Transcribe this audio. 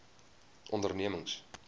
ondernemings